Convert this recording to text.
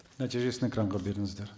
нәтижесін экранға беріңіздер